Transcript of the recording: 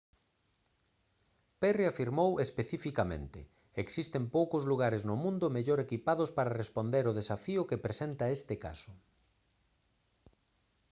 perry afirmou especificamente: «existen poucos lugares no mundo mellor equipados para responder ao desafío que presenta este caso»